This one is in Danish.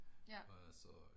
Ja